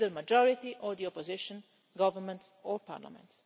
Neither the majority, nor the opposition government nor parliament.